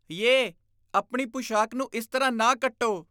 Yay, ਆਪਣੀ ਪੁਸ਼ਾਕ ਨੂੰ ਇਸ ਤਰ੍ਹਾਂ ਨਾ ਕੱਟੋ।